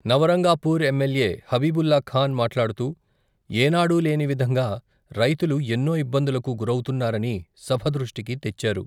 Nabarangpur MLA Habibullah Khan మాట్లాడుతూ, ఎనాడూ లేని విధంగా, రైతులు ఎన్నో ఇబ్బందులకు గురౌతున్నారని, సభ దృష్టికి తెచ్చారు.